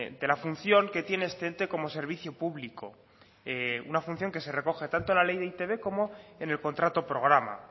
de la función que tiene este ente como servicio público una función que se recoge tanto en la ley de e i te be como en el contrato programa